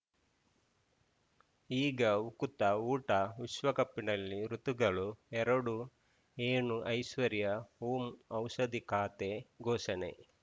ಈಗ ಉಕುತ ಊಟ ವಿಶ್ವಕಪ್‌ನಲ್ಲಿ ಋತುಗಳು ಎರಡು ಏನು ಐಶ್ವರ್ಯಾ ಓಂ ಔಷಧಿ ಖಾತೆ ಘೋಷಣೆ